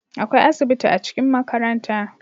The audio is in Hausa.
akwai asibiti a cikin makaranta